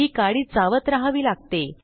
ही काडी चावत रहावी लागते